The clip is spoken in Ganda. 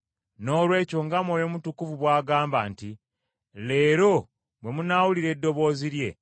Noolwekyo nga Mwoyo Mutukuvu bw’agamba nti, “Leero bwe munaawulira eddoboozi lye,